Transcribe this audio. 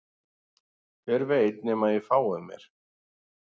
Hver veit nema að ég fái mér